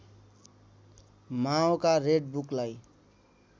माओका red बुकलाई